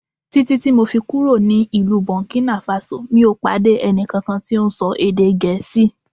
Títí ti mọ̀ fi kúrò ní ìlú Burkina Faso mi ò pàdé ẹnì kankan tí ó ń ṣọ èdè Gẹ̀ẹ́sì